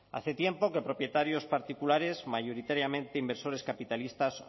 hace tiempo que propietarios particulares mayoritariamente inversores capitalistas